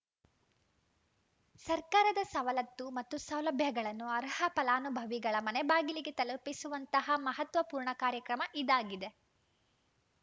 ಸರ್ಕಾರದ ಸವಲತ್ತು ಮತ್ತು ಸೌಲಭ್ಯಗಳನ್ನು ಅರ್ಹ ಫಲಾನುಭವಿಗಳ ಮನೆ ಬಾಗಿಲಿಗೆ ತಲುಪಿಸುವಂತಹ ಮಹತ್ವ ಪೂರ್ಣ ಕಾರ್ಯಕ್ರಮ ಇದಾಗಿದೆ